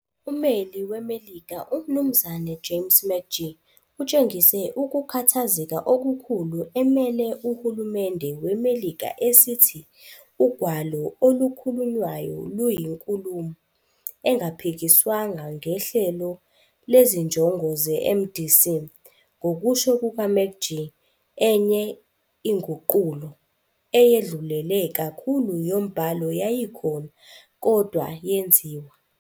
Umeli weMelika uMnumzana James McGee utshengise ukukhathazeka okukhulu emele uhulumende weMelika esithi ugwalo olukhulunywayo luyinkulumo engaphikiswanga ngenhlelo lezinjongo zeMDC, ngokusho kukaMcGee, enye inguqulo, eyedlulele kakhulu yombhalo yayikhona, kodwa yenziwa.